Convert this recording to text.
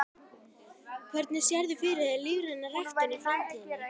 Hvernig sérðu fyrir þér lífræna ræktun í framtíðinni?